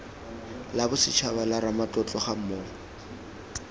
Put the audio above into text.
la bosetshaba la ramatlotlo gammogo